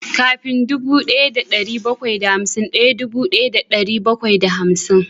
Kafin dubu daya da dari bakwai da hamsin daya dubu daya da dari bakwai da hamsin